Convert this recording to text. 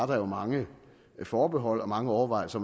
der var mange forbehold og mange overvejelser